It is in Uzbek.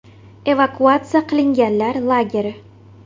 Evakuatsiya qilinganlar lageri.